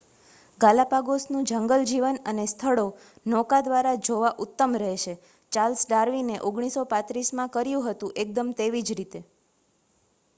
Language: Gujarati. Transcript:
ગાલાપાગોસ નું જંગલજીવન અને સ્થળો નૌકા દ્વારા જોવા ઉત્તમ રહેશે ચાર્લ્સ ડાર્વિને 1835 માં કર્યું હતું એકદમ તેવીજ રીતે